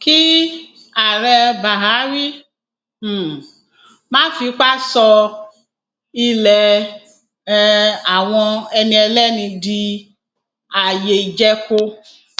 kí ààrẹ bahari um má fipá sọ ilé um àwọn ẹni ẹlẹni di ààyè ìjẹko